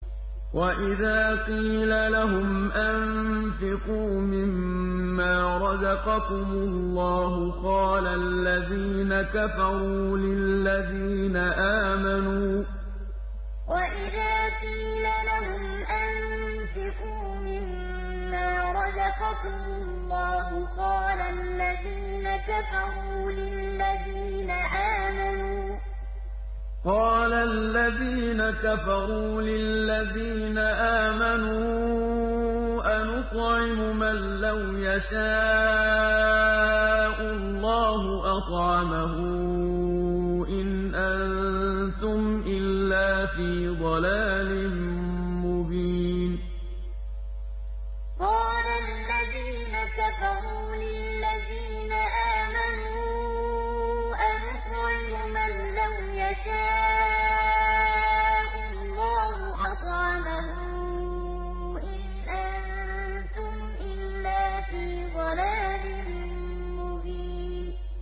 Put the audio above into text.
وَإِذَا قِيلَ لَهُمْ أَنفِقُوا مِمَّا رَزَقَكُمُ اللَّهُ قَالَ الَّذِينَ كَفَرُوا لِلَّذِينَ آمَنُوا أَنُطْعِمُ مَن لَّوْ يَشَاءُ اللَّهُ أَطْعَمَهُ إِنْ أَنتُمْ إِلَّا فِي ضَلَالٍ مُّبِينٍ وَإِذَا قِيلَ لَهُمْ أَنفِقُوا مِمَّا رَزَقَكُمُ اللَّهُ قَالَ الَّذِينَ كَفَرُوا لِلَّذِينَ آمَنُوا أَنُطْعِمُ مَن لَّوْ يَشَاءُ اللَّهُ أَطْعَمَهُ إِنْ أَنتُمْ إِلَّا فِي ضَلَالٍ مُّبِينٍ